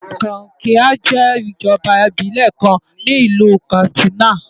Kankia jẹ́ ìjọba ìbílẹ̀ kan ní ìlú Katsina.